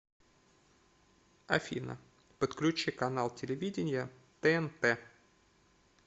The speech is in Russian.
афина подключи канал телевидения тнт